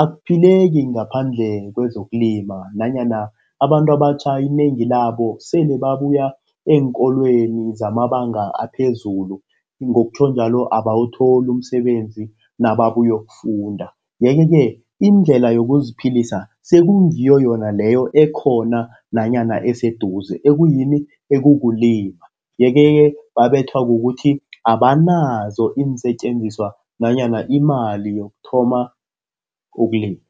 akuphileki ngaphandle kwezokulima nanyana abantu abatjha inengi labo sele babuya eenkolweni zamabanga aphezulu ngokutjho njalo abawuthola umsebenzi nababuyokufunda. Yeke-ke, indlela yokuziphilisa sekungiyo yona leyo ekhona nanyana eseduze ekuyini, ekukulima, yeke-ke babethwa kukuthi abanazo iinsetjenziswa nanyana imali yokuthoma ukulima.